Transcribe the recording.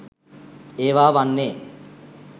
ඒවා වන්නේ.